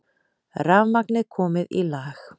Rafmagnið komið í lag